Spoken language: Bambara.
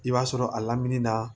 I b'a sɔrɔ a lamini na